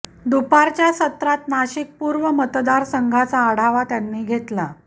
दुपारच्या सत्रात नाशिक पूर्व मतदारसंघाचा आढावा त्यांनी घेतला